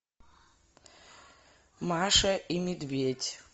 маша и медведь